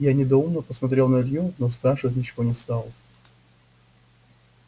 я недоуменно посмотрел на илью но спрашивать ничего не стал